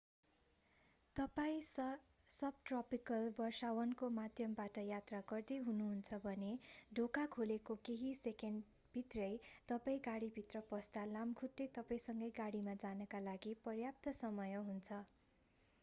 तपाईं सबट्रपिकल वर्षावनको माध्यमबाट यात्रा गर्दै हुनु हुन्छ भने ढोका खोलेको केही सेकेन्ड भित्रै तपाईं गाडीभित्र पस्दा लामखुट्टे तपाईंसँगै गाडीमा जानका लागि पर्याप्त समय हुन्छ